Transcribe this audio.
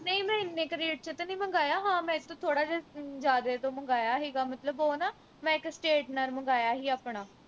ਨਹੀਂ ਮੈਂ ਇੰਨੇ ਕਿ rate ਵਿਚ ਤੇ ਨਹੀਂ ਮੰਗਾਇਆ ਹਾਂ ਮੈਂ ਇਸ ਤੋਂ ਥੋੜਾ ਜਾ ਜਿਆਦੇ ਤੋਂ ਮੰਗਾਇਆ ਹੀਗਾ ਮਤਲਬ ਉਹ ਨਾ ਮੈਂ ਇਕ straightener ਮੰਗਾਇਆ ਹੀ ਆਪਣਾ